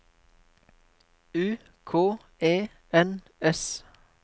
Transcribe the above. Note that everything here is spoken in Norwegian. U K E N S